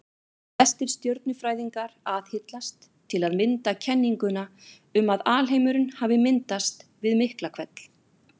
Flestir stjörnufræðingar aðhyllast til að mynda kenninguna um að alheimurinn hafi myndast við Miklahvell.